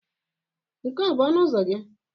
Nke a ọ bụ ọnụ ụzọ gị?